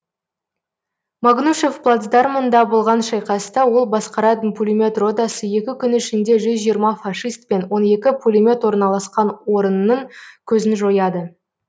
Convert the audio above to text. магнушев плацдармында болған шайқаста ол басқаратын пулемет ротасы екі күн ішінде жүз жиырма фашист пен он екі пулемет орналасқан орынның көзін жояды